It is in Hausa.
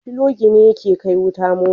Filogi ne yake kai wuta mota